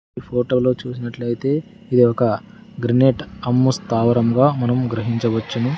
ఈ ఫోటోలో చూసినట్లయితే ఇది ఒక గ్రినేట్ హమ్ము స్తావరంగా మనం గ్రహించవచ్చును.